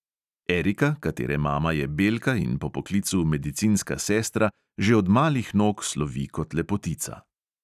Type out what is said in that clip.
Erika, katere mama je belka in po poklicu medicinska sestra, že od malih nog slovi kot lepotica.